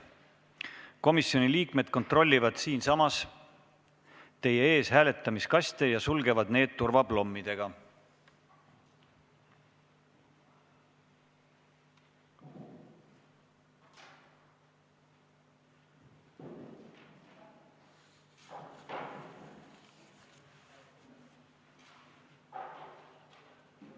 Komisjoni liikmed kontrollivad siinsamas teie ees hääletamiskaste ja sulgevad need turvaplommidega.